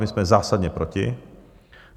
My jsme zásadně proti.